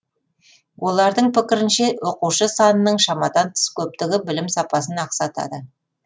олардың пікірінше оқушы санының шамадан тыс көптігі білім сапасын ақсатады